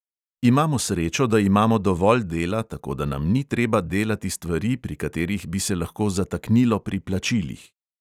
Imamo srečo, da imamo dovolj dela, tako da nam ni treba delati stvari, pri katerih bi se lahko zataknilo pri plačilih.